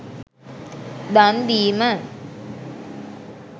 දන් දීම